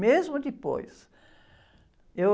Mesmo depois, eu....